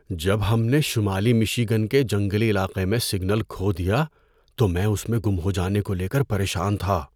جب ہم نے شمالی مشی گن کے جنگلی علاقے میں سگنل کھو دیا تو میں اس میں گم ہو جانے کو لے کر پریشان تھا۔